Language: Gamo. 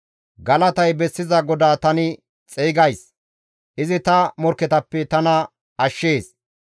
Galatay bessiza GODAA tani xeygays; izi ta morkketappe tana ashshees.